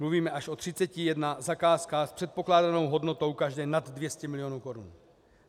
Mluvíme až o 31 zakázkách s předpokládanou hodnotou každé nad 200 milionů korun.